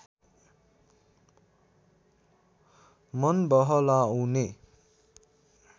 मन बहलाउने